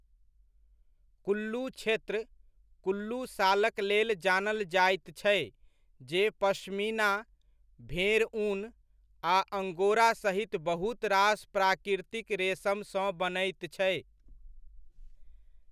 कुल्लू क्षेत्र, कुल्लू शालक लेल जानल जाइत छै, जे पश्मीना, भेड़ ऊन, आ अंगोरा सहित बहुत रास प्राकृतिक रेसमसँ बनैत छै।